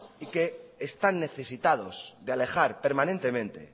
y que están necesitados de alejar permanentemente